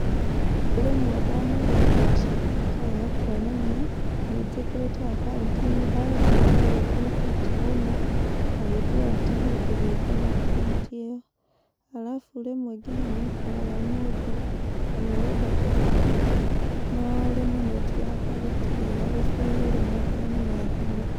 Rĩmwe ndanaiga mbeca ikarega kuonania nĩ njĩkĩrĩte akaunti-inĩ. Ndathiĩ ndageria kũruta itirauma, na hĩndĩ ĩo atĩ nĩndĩhĩtwo na akaunti ĩyo. Arabu rĩmwe nĩũkoraga mũndũ nĩarenda kũruta, no rĩmwe netiwaki gũtirĩ ĩga gũ fail rĩmwe okorwo nĩ na thimũ.